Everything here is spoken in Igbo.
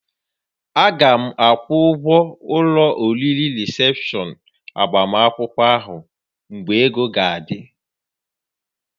A ga m akwụ ụgwọ ụlọ oriri rịsepshọn agbamakwụkwọ ahụ mgbe ego ga-adị